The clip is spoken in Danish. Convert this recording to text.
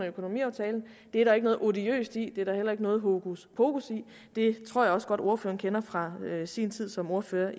økonomiaftale det er der ikke noget odiøst i det er der heller ikke noget hokuspokus i det tror jeg også godt ordføreren kender fra sin tid som ordfører